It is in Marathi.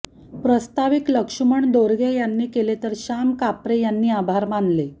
प्रस्ताविक लक्ष्मण दोरगे यांनी केले तर श्याम कापरे यांनी आभार मानले